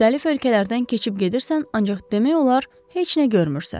Müxtəlif ölkələrdən keçib gedirsən, ancaq demək olar heç nə görmürsən.